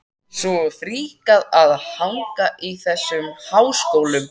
Svo fríkað að hanga í þessum háskólum!